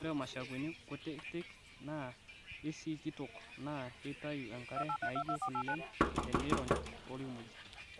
Ore mushakweni kutitik naa keisikitok naa keitayu enkare naijo kule tenirony toolkimojik.